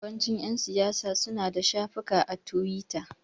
Yawancin ƴan siyasa suna da shafukan a tiwita.